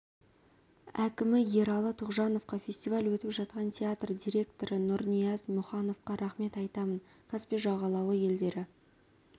әкімі ералы тоғжановқа фестиваль өтіп жатқан театр директоры нұрнияз мұхановқа рахмет айтамын каспий жағалауы елдері